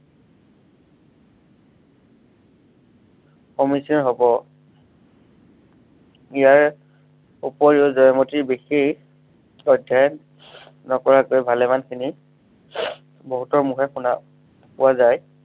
সমীচিন হব। ইয়াৰ, ওপৰিও জয়মতীৰ বিশেষ, অধ্য়য়ন নকৰাকৈ ভালেমান খিনি বহুতৰ মুখেৰে শুনা পোৱা যায়।